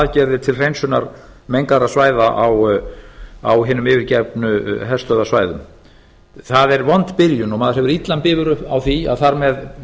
aðgerðir til hreinsunar mengaðra svæða á hinum yfirgefnum herstöðvarsvæðum það er vond byrjun og maður hefur illan bifur á því að þar með